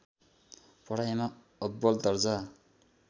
पढाइमा अब्बल दर्जा